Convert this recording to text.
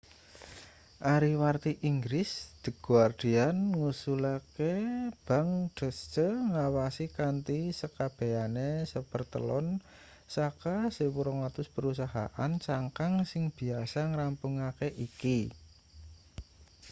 ariwarti inggris the guardian ngusulake bank deutsche ngawasi kanthi sekabehane sapertelon saka 1200 perusahaan cangkang sing biasa ngrampungake iki